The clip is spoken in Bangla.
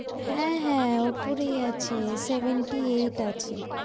হ্যাঁ হ্যাঁ উপরেই আছে, seventy eight আছে।